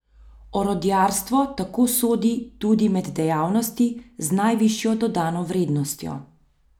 Orodjarstvo tako sodi tudi med dejavnosti z najvišjo dodano vrednostjo.